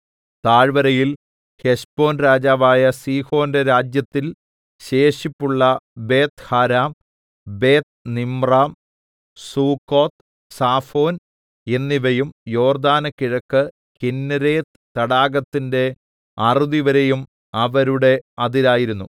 താഴ്‌വരയിൽ ഹെശ്ബോൻ രാജാവായ സീഹോന്റെ രാജ്യത്തിൽ ശേഷിപ്പുള്ള ബേത്ത്ഹാരാം ബേത്ത്നിമ്രാം സുക്കോത്ത് സാഫോൻ എന്നിവയും യോർദ്ദാന് കിഴക്ക് കിന്നേരെത്ത് തടാകത്തിന്റെ അറുതിവരെയും അവരുടെ അതിരായിരുന്നു